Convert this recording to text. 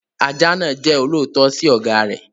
Ajá náà jẹ́ olóòótọ́ sí ọ̀gá rẹ̀.